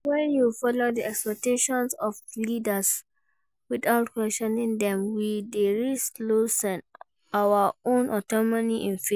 When we follow di expectations of our leaders without questioning dem, we dey risk losing our own autonomy in faith.